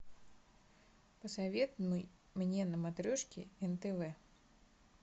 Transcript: посоветуй мне на матрешке нтв